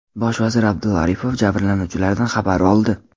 Bosh vazir Abdulla Aripov jabrlanuvchilardan xabar oldi.